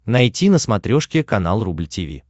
найти на смотрешке канал рубль ти ви